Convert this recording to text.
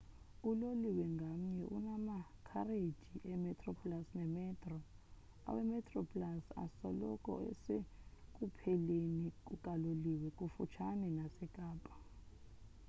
uloliwe ngamnye unamakhareji emetroplus nemetro awemetroplus asoloko esekupheleni kukaloliwe kufutshane nasekapa